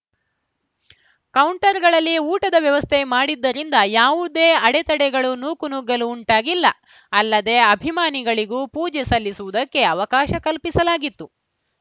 ಕೌಂಟರ್‌ಗಳಲ್ಲಿ ಊಟದ ವ್ಯವಸ್ಥೆ ಮಾಡಿದ್ದರಿಂದ ಯಾವುದೇ ಅಡೆತಡೆಗಳು ನೂಕುನುಗ್ಗಲು ಉಂಟಾಗಿಲ್ಲ ಅಲ್ಲದೆ ಅಭಿಮಾನಿಗಳಿಗೂ ಪೂಜೆ ಸಲ್ಲಿಸುವುದಕ್ಕೆ ಅವಕಾಶ ಕಲ್ಪಿಸಲಾಗಿತ್ತು